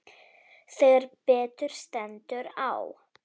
Þegar betur stendur á.